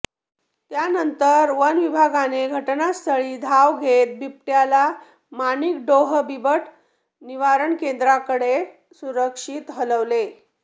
त्यानंतर वनविभागाने घटनास्थळी धाव घेत बिबट्याला माणिकडोह बिबट निवारण केंद्राकडे सुरक्षित हलविले